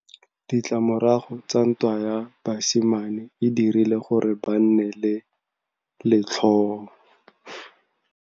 Ditlamorago tsa ntwa ya basimane e dirile gore ba nne le letlhôô.